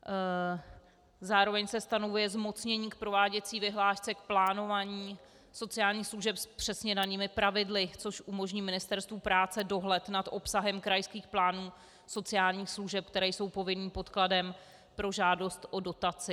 Zároveň se stanovuje zmocnění k prováděcí vyhlášce, k plánování sociálních služeb s přesně danými pravidly, což umožní Ministerstvu práce dohled nad obsahem krajských plánů sociálních služeb, které jsou povinným podkladem pro žádost o dotaci.